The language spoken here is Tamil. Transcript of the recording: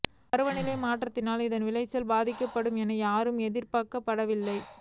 பருவநிலை மாற்றத்தினால் இதன் விளைச்சல் பாதிக்கப்படும் என யாரும் எதிர்பார்க்கவில்லை